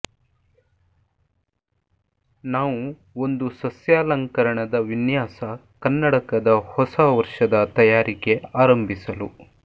ನಾವು ಒಂದು ಸಸ್ಯಾಲಂಕರಣದ ವಿನ್ಯಾಸ ಕನ್ನಡಕದ ಹೊಸ ವರ್ಷದ ತಯಾರಿಕೆ ಆರಂಭಿಸಲು